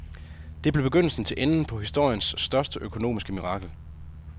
Det blev begyndelsen til enden på historiens største økonomiske mirakel.